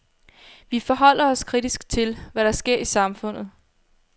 Vi forholder os kritisk til, hvad der sker i samfundet.